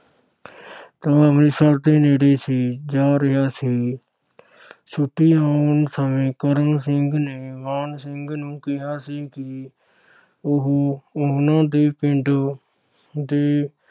ਤਾਂ ਅੰਮ੍ਰਿਤਸਰ ਦੇ ਨੇੜੇ ਸੀ ਜਾ ਰਿਹਾ ਸੀ। ਛੁੱਟੀ ਆਉਣ ਸਮੇਂ ਕਰਮ ਸਿੰਘ ਨੇ ਮਾਣ ਸਿੰਘ ਨੂੰ ਕਿਹਾ ਸੀ ਕਿ ਉਹ ਉਨ੍ਹਾਂ ਦੇ ਪਿੰਡ ਦੇ